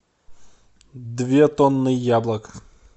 две тонны яблок